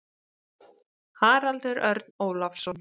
Haraldur Örn Ólafsson.